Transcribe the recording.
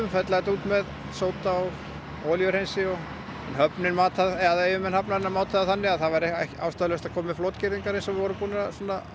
fella þetta út með sóda og olíuhreinsi yfirmenn hafnarinnar mátu það þannig að það væri ástæðulaust að koma með flotgirðingar eins og við vorum búnir að